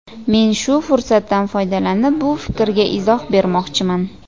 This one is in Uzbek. Men shu fursatdan foydalanib bu fikrga izoh bermoqchiman.